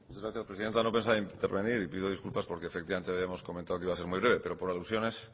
da hitza muchas gracias presidenta no pensaba intervenir pido disculpas porque efectivamente habíamos comentado que iba a ser muy breve pero por alusiones